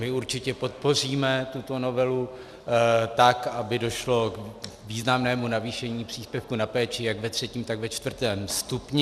My určitě podpoříme tuto novelu tak, aby došlo k významnému navýšení příspěvku na péči jak ve třetím, tak ve čtvrtém stupni.